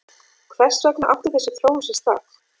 Hvers vegna átti þessi þróun sér stað?